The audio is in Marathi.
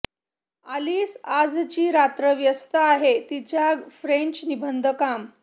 आलिस आजची रात्र व्यस्त आहे तिच्या फ्रेंच निबंध काम